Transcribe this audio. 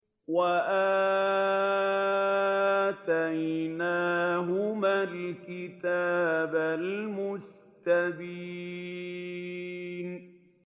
وَآتَيْنَاهُمَا الْكِتَابَ الْمُسْتَبِينَ